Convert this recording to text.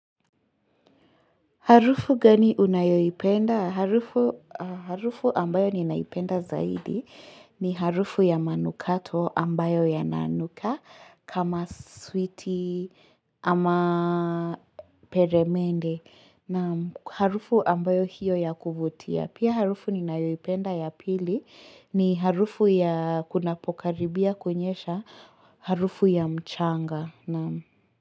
Harufu gani unayoipenda? Harufu Harufu ambayo ninaipenda zaidi ni harufu ya manukato ambayo yanananuka kama switi ama peremende na harufu ambayo hiyo ya kuvutia. Pia harufu ninayoipenda ya pili ni harufu ya kunapokaribia kunyesha harufu ya mchanga.